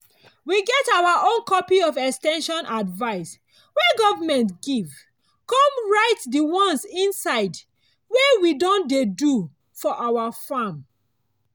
we get our own copy of ex ten sion advice wey government give con write di ones inside wey we don dey do for our farm.